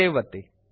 save ಒತ್ತಿ